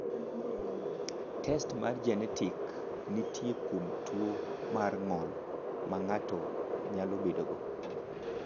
Test mar genetik nitie kuom tuo mar ng’ol ma ng’ato nyalo bedogo.